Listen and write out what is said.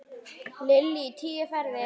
Lillý: Tíu ferðir?